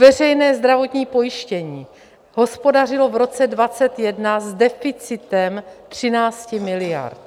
Veřejné zdravotní pojištění hospodařilo v roce 2021 s deficitem 13 miliard.